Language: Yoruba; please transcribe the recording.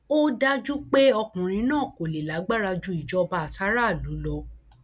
ó dájú pé ọkùnrin náà kò lè lágbára ju ìjọba àtàráàlú lọ